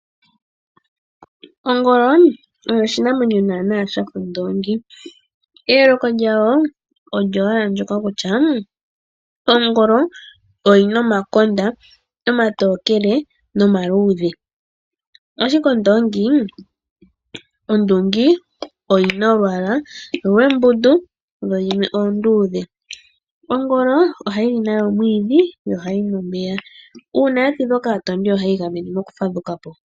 Ongolo oyo oshinamwenyo naana shafa ondoongi. Eyooko lyayo olyo owala ndoka kutya ongolo oyina omakonda omatokele nomaluudhe, ashike ondoongi oyina olwaala lwembundu yo yimwe oonduudhe. Ongolo ohayili omwiidhi no hayinu omeya . Uuna ya tidhwa kaatondi ohayi igamene noku fadhukapo